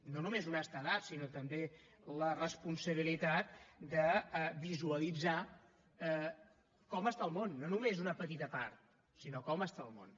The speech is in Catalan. no només honestedat sinó també la responsabilitat de visualitzar com està el món no només una petita part sinó com està el món